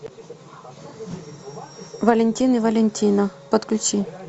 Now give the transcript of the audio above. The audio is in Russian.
валентин и валентина подключи